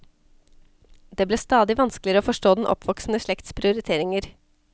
Det ble stadig vanskeligere å forstå den oppvoksende slekts prioriteringer.